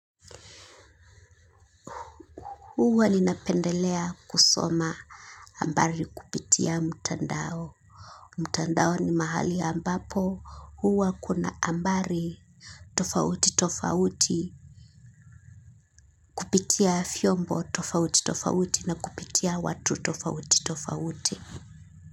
Huwa ninapendelea kusoma habari kupitia mtandao. Mtandao ni mahali ambapo huwa kuna habari tofauti tofauti. Kupitia vyombo tofauti tofauti na kupitia watu tofauti tofauti.